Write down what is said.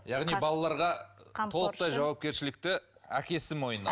яғни балаларға толықтай жауапкершілікті әкесі мойнына